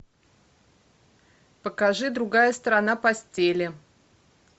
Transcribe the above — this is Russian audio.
покажи другая сторона постели